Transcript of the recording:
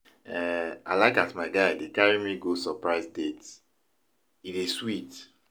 um I like as my guy dey carry me go surprise dates, e dey sweet.